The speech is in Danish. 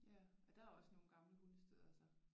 Ja og der er også nogle gamle hundestedere så?